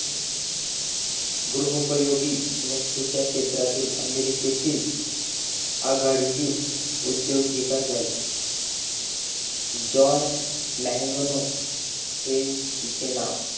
गृहोपयोगी वास्तूच्या क्षेत्रातील अमेरिकेतील आघाडीची उद्दोजीक झाली जॉय न्यागानो हे तिझे नावं